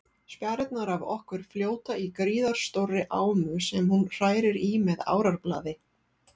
Spjarirnar af okkur fljóta í gríðarstórri ámu sem hún hrærir í með árarblaði.